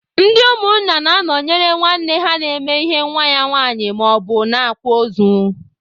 Ndị umunna na-anọnyere nwanne ha na-eme ihe nwa ya nwaanyị maọbụ na-akwa ozu.